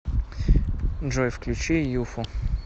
джой включи юфу